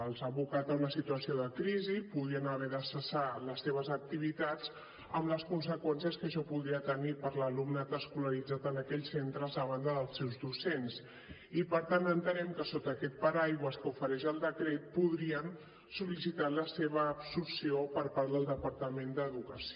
els ha abocat a una situació de crisi poden haver de cessar les seves activitats amb les conseqüències que això podria tenir per a l’alumnat escolaritzat en aquells centres a banda dels seus docents i per tant entenem que sota aquest paraigua que ofereix el decret podrien sol·licitar la seva absorció per part del departament d’educació